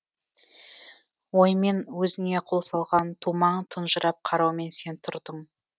ойымен өзіңе қол салған тумаң тұнжырап қараумен сен тұрдың